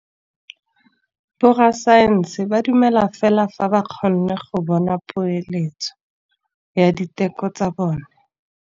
Borra saense ba dumela fela fa ba kgonne go bona poeletsô ya diteko tsa bone.